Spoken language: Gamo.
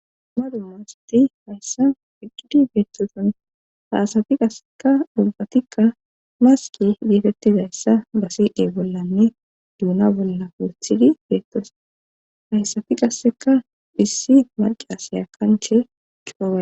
duma duma asati hayssa fiqqidi beettoson ta asafi qasseka dubbatikka maski geetettizayssa ba sii7e bollanne duuna bolla purthidi beettos hayssafi qasseka phissi marqi asaya kanche kifoa.